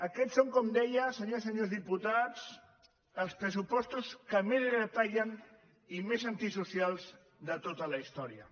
aquest són com deia senyores i senyors diputats els pressupostos que més retallen i més antisocials de tota la història